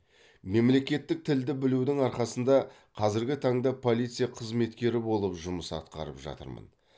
мемлекеттік тілді білудің арқасында қазіргі таңда полиция қызметкері болып жұмыс атқарып жатырмын